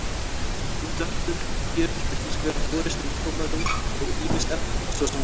Útvarpsbylgjur geta hins vegar borist um tómarúm og ýmis efni, svo sem loft.